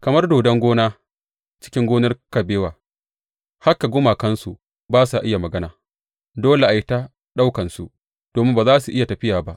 Kamar dodon gona cikin gonar kabewa, haka gumakansu ba sa iya magana; dole a yi ta ɗaukansu domin ba za su iya tafiya ba.